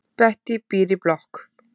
Bettý býr í blokk.